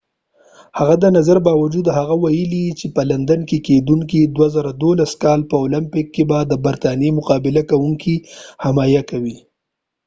د هغه د نظر باوجود هغه ويلی دي چې په لندن کې کېدونکې د 2012 کال په اولمپک کې به د برطانیې مقابله کوونکې حمایه کوي